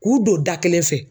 K'u don da kelen fɛ